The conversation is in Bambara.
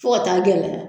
Fo ka taa gɛlɛya